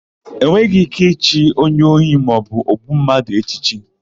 E nweghị íké ichi onye ohi maọbụ ogbu mmadụ echichi.